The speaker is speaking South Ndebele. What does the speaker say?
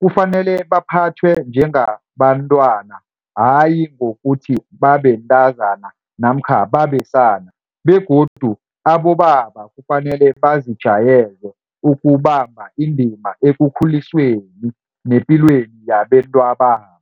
Kufanele baphathwe njengabantwana, hayi ngokuthi babentazana namkha babesana begodu abobaba kufanele bazijayeze ukubamba indima ekukhulisweni nepilweni yabentwababo.